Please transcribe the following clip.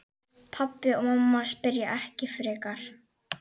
Pabbi og mamma spyrja ekki frekar.